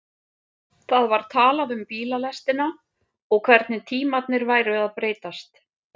Það var talað um bílalestina og hvernig tímarnir væru að breytast.